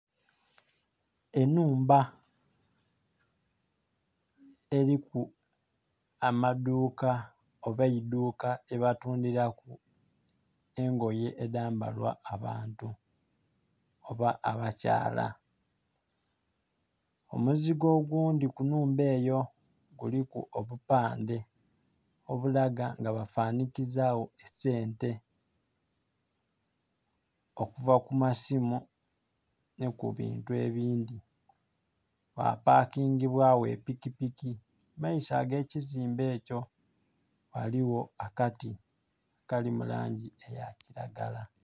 Enhumba eliku amaduuka oba eidhuka lyebatundilaku engoye edhambalwa abantu oba abakyala. Omuzigo ogundi ku nhumba eyo kuliku obupandhe obulaga nga bafanhikizawo esente, okuva ku masimu nhi ku bintu ebindhi. Wapakingibwawo epikipiki. Mu maiso ag'ekizimbe ekyo ghaliwo akati akali mu langi eya kiragala.